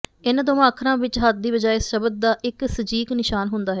ਇਨ੍ਹਾਂ ਦੋਵਾਂ ਅੱਖਰਾਂ ਵਿੱਚ ਹੱਥ ਦੀ ਬਜਾਏ ਸ਼ਬਦ ਦਾ ਇੱਕ ਸਜੀਕ ਨਿਸ਼ਾਨ ਹੁੰਦਾ ਹੈ